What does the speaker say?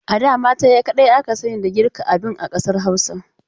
A da mata kadai aka sani da girka abin a ƙasar Hausa..